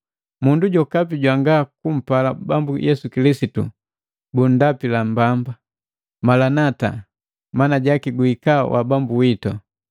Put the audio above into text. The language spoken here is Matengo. Mundu jokapi jwangakumpala Bambu Yesu Kilisitu bundapila mbamba. Maranata mana jaki Guhika wa Bambu witu!